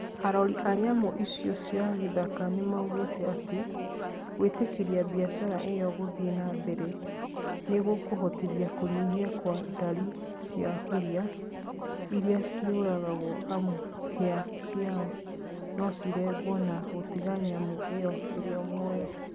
Arori a nyamu icio cia gĩthaka nĩmaugĩte atĩ, gwĩtĩkĩria mbiacara ĩyo gũthiĩ na mbere nĩgukũhotithia kũnyiha kwa ndari cia huria irĩa cĩũragagwo amu hĩa ciao nocirengwo na gũtiga nyamũ icio ĩrĩ muoyo